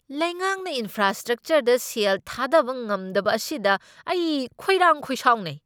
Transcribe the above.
ꯂꯩꯉꯥꯛꯅ ꯏꯟꯐ꯭ꯔꯥꯁꯇ꯭ꯔ꯭ꯛꯆꯔꯗ ꯁꯦꯜ ꯊꯥꯗꯕ ꯉꯝꯗꯕ ꯑꯁꯤꯗ ꯑꯩ ꯈꯣꯏꯔꯥꯡ ꯈꯣꯏꯁꯥꯎꯅꯩ꯫